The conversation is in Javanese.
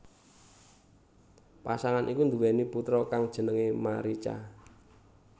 Pasangan iku nduwèni putra kang jenengé Marica